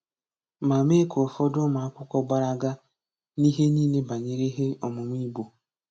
ma mee ka ụfọdụ ụmụakwụkwọ gbalaga n'ihe niile banyere ihe ọmụmụ Igbo.